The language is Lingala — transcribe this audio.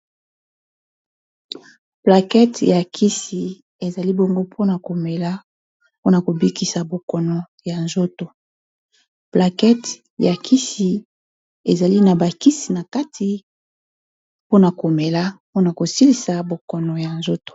Plakete ya kisi ezali bongo mpona komela mpona kobikisa bokono ya nzotolet ya kisi ezali na bakisi na kati mpona komela mpona kosilisa bokono ya nzoto.